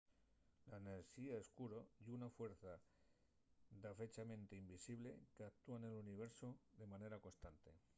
la enerxía escuro ye una fuerza dafechamente invisible qu’actúa nel universu de manera constante